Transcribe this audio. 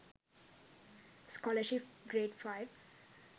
scholarship grade 05